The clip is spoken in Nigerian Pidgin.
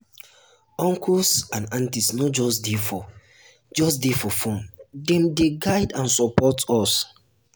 um uncles um and aunties no just dey for just dey for fun dem dey guide and support us. um